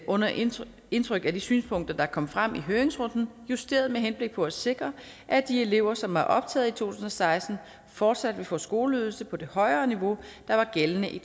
under indtryk indtryk af de synspunkter der kom frem i høringsrunden justeret med henblik på at sikre at de elever som var optaget i to tusind og seksten fortsat vil få skoleydelse på det højere niveau der var gældende i